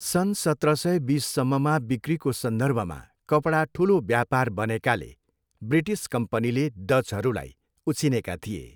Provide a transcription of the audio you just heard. सन् सत्र सय बिससम्ममा बिक्रीको सन्दर्भमा कपडा ठुलो व्यापार बनेकाले, ब्रिटिस कम्पनीले डचहरूलाई उछिनेका थिए।